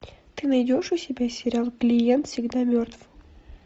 ты найдешь у себя сериал клиент всегда мертв